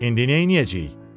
İndi neyləyəcəyik?